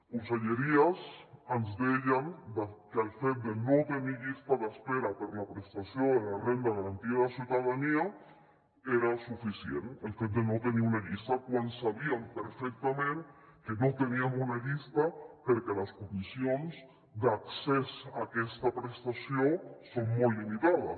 conselleries ens deien que el fet de no tenir llista d’espera per a la prestació de la renda garantida de ciutadania era suficient el fet de no tenir una llista quan sabíem perfectament que no teníem una llista perquè les condicions d’accés a aquesta prestació són molt limitades